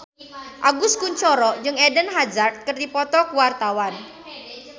Agus Kuncoro jeung Eden Hazard keur dipoto ku wartawan